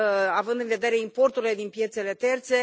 având în vedere importurile din piețele terțe.